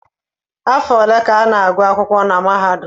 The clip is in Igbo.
Afọ ole ka a na-agụ akwụkwọ na mahadum?